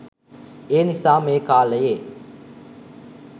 ඒනිසා මේ කාලයේ